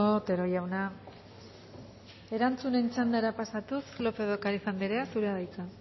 otero jauna erantzunen txandara pasatuz lópez de ocariz andrea zurea da hitza